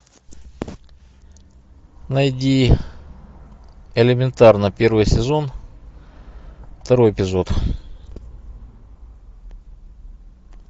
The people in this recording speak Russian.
найди элементарно первый сезон второй эпизод